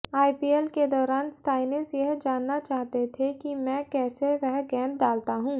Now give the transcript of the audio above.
IPL के दौरान Stoinis यह जानना चाहते थे कि मैं कैसे वह गेंद डालता हूं